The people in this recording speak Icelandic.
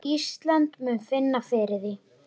Ísland muni finna fyrir því.